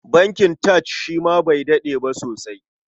Bankin TAJ shi ma bai daɗe ba sosai.